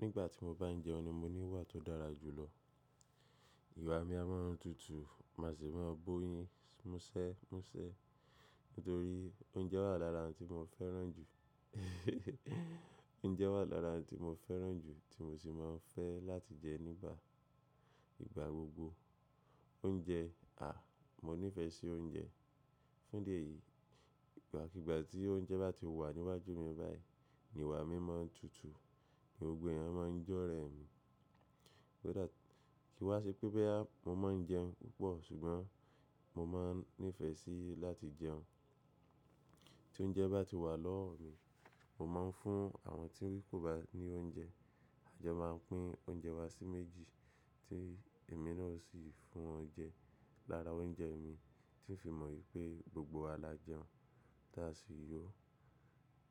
Nígbà tí mo bá ń jẹun ni mo ní ìwà tó dára jù lọ. Iwà mi a máa ń tutù, màá sì máa ń bó yín, mú ṣẹ́, mú ṣẹ́. Nítorí oúnjẹ wà lára ohun tí mo fẹ́ràn jù, oúnjẹ wà lára ohun tí mo fẹ́ràn jù tí mo sì máa ń fẹ́ láti jẹ nígbà ìgbà gbogbo. Oúnjẹ, à, mo nífẹ̀ẹ́ sí oúnjẹ. Fún díẹ̀ yìí, ìgbàkígbà tí oúnjẹ bá ti wà níwájú mi báyìí, ìwà mi máa ń tutù, gbogbo ẹ̀yàn máa ń jọ́rẹ mi. Kí wá ṣe pé boya, mo má ń jẹun púpọ̀ ṣùgbọ́n mo máa ń nífẹ̀ẹ́ síi láti jẹun. Tí oúnjẹ bá ti wà lọ́wọ́ mi, mo máa ń fún àwọn tí wípé kò bá ní oúnjẹ, àjọ máa pín oúnjẹ wa sí méjì tí èmi náà sì fún wọn jẹ lára oúnjẹ mi, tí ń fi mọ wipé gbogbo wa lájeun, tí a sì yó.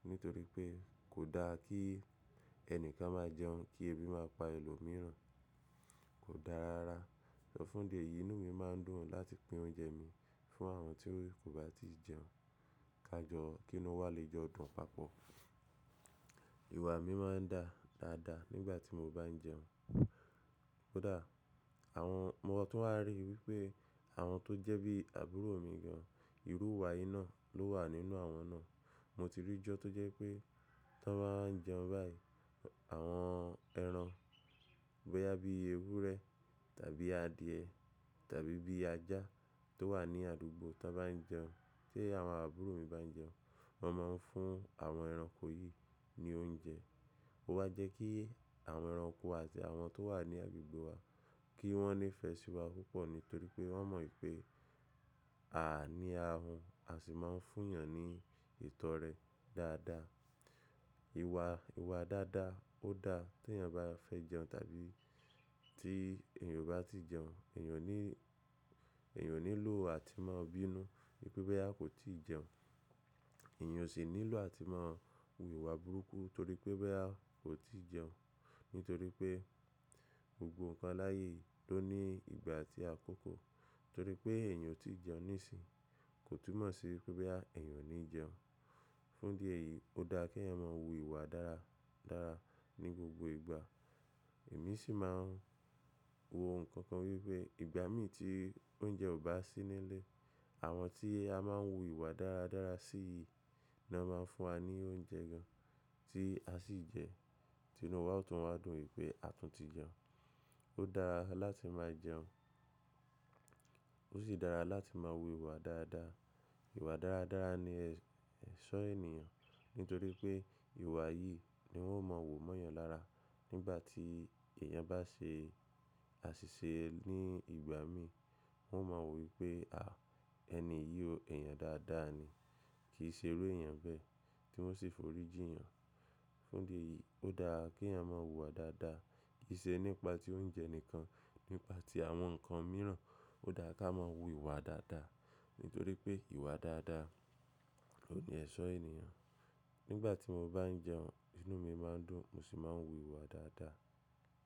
Nítorí pé kò da kí ẹnìkan máa jẹun kí ebi má pa ẹlòmíràn, kò da rara. Ṣọ fún díẹ̀ yìí inú mi máa ń dùn láti pín oúnjẹ mi fún àwọn tí wí kò bá ti jẹun, ká jọ kí inú wa lè jọ dùn papọ̀. Iwà mi máa ń da dáadáa nígbà tí mo bá ń jẹun. Ó dáa. Àwọn-- mo tún wá ríi wípé àwọn tó jẹ́ bí àbúrò mi gan, irú ìwà yìí náà ló wà nínú àwọn náà. Mo ti rí i jọ́ tó jẹ́ pé tí wọ́n bá ń jẹun báyìí, àwọn ẹran bóyá bí i ewúrẹ́ tàbí adìẹ tàbí bí i ajá tó wà ní àdúgbò tí wọ́n bá ń jẹun, tí àwọn àbúrò mi bá ń jẹun, wọ́n máa ń fún àwọn ẹranko yìí ní oúnjẹ. Ó wá jẹ́ kí àwọn ẹranko àti àwọn tó wà ní agbègbè wa kí wọ́n nífẹ̀ẹ́ sí wa púpọ̀ nítorí pé wọ́n mọ wipé à ní ahun, a sì máa ń fún èèyàn ní ìtọ́rẹ dáadáa. Iwà, ìwà dáadáa ó da tí ẹ̀yàn bá fẹ́ jẹun tàbí tí èèyàn bá ti jẹun, èèyàn ní, èèyàn onílò àtimọ́ bínú wípé boya kò tíì jẹun. Èèyàn osì nílò àtimọ́ hu ìwà burúkú torí pé boya kò tíì jẹun. Nítorí pé gbogbo nǹkan láàyè ló ní ìgbà àti àkókò. Torí pé èèyàn otí jẹun níìsín kò túnmọ̀ sí wípé boya èèyàn ò ní jẹun. Fún díẹ̀ yìí ó da kí ẹ̀yàn máa hu ìwà dára dára ní gbogbo ìgbà. Èmi sì máa ń hu nǹkan kan wípé ìgbà mí tí oúnjẹ ò bá sí nílé, àwọn tí a máa ń hu ìwà dára dára sí yìí náà máa ń fún wa ní oúnjẹ gan tí a sì jẹ́, tí inú wa otún máa dùn wipé a tún ti jẹun. Ó dára láti máa jẹun ó sì dára láti máa hu ìwà dáadáa. Iwà dáadáa ni ẹ̀ṣọ́ ènìyàn nítorí pé ìwà yìí ni wọ́n máa wò mó èèyàn lára. Nígbà tí èèyàn bá ṣe àṣìṣe ní ìgbà mí, wọ́n máa wò wípé à ẹni yìí ó èèyàn dáadáa ni, kì í ṣe iru èèyàn bẹ́ẹ̀ tí wọ́n sì forí jí èèyàn. Fún díẹ̀ yìí ó dára kí ẹ̀yàn máa hu ìwà dáadáa, kì í ṣe nípa tí oúnjẹ nìkan, nípa tí àwọn nǹkan mìíràn ó dáa ká máa hu ìwà dáadáa nítorí pé ìwà dáadáa oun ní ẹ̀ṣọ́ ènìyàn. Nígbà tí mo bá ń jẹun inú mi máa ń dùn mo sì máa ń hu ìwà dáadáa.